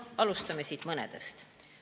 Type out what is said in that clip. Alustame mõnest.